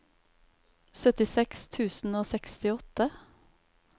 syttiseks tusen og sekstiåtte